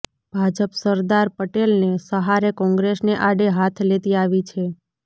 ભાજપ સરદાર પટેલને સહારે કોંગ્રેસને આડે હાથ લેતી આવી છે